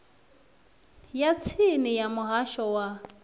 ya tsini ya muhasho wa